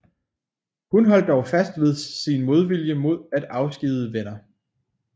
Hun holdt dog fast ved sin modvilje mod at afskedige Wenner